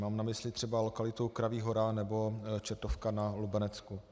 Mám na mysli třeba lokalitu Kraví hora nebo Čertovka na Lubenecku.